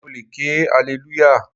Mo le ké alelúyà.